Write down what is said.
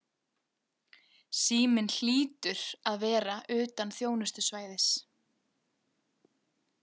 Síminn hlýtur að vera utan þjónustusvæðis.